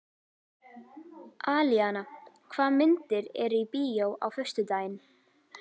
Alíana, hvaða myndir eru í bíó á föstudaginn?